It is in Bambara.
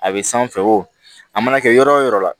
A bɛ sanfɛ wo a mana kɛ yɔrɔ o yɔrɔ la